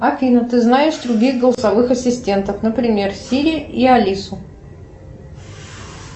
афина ты знаешь других голосовых ассистентов например сири и алису